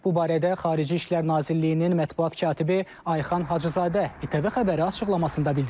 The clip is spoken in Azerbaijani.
Bu barədə Xarici İşlər Nazirliyinin mətbuat katibi Ayxan Hacızadə ATV Xəbərə açıqlamasında bildirib.